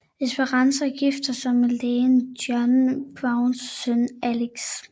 Esperanza giftede sig med Lægen John Browns søn Alex